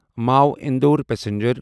Mhow Indore passenger